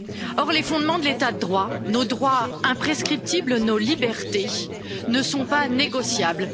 Or, les fondements de l'état de droit, nos droits imprescriptibles, nos libertés ne sont pas négociables.